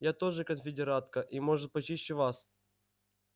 я тоже конфедератка и может почище вас